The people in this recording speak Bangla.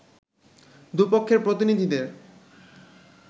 দু’পক্ষের প্রতিনিধিদের